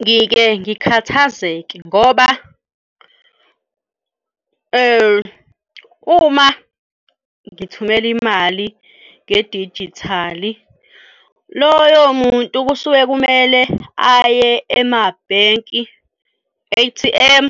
Ngike ngikhathazeke ngoba uma ngithumele imali ngedijithali, loyo muntu kusuke kumele aye emabhenki A_T_M